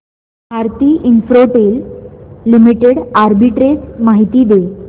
Bharti Infratel limited arbitrage माहिती दे